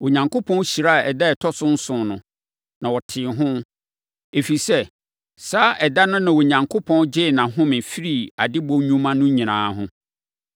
Onyankopɔn hyiraa ɛda a ɛtɔ so nson no, na ɔtee ho. Ɛfiri sɛ, saa ɛda no na Onyankopɔn gyee nʼahome firii adebɔ nnwuma no nyinaa ho.